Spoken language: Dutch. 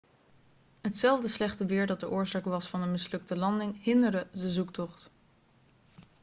hetzelfde slechte weer dat de oorzaak was van de mislukte landing hinderde de zoektocht